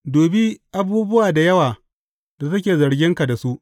Dubi abubuwa da yawa da suke zarginka da su.